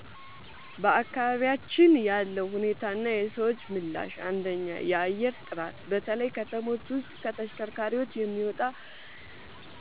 በአካባቢያችን ያለው ሁኔታና የሰዎች ምላሽ፦ 1. የአየር ጥራት፦ በተለይ ከተሞች ውስጥ ከተሽከርካሪዎች የሚወጣ